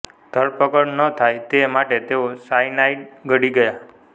ધરપકડ ન થાય તે માટે તેઓ સાયનાઇડ ગળી ગયા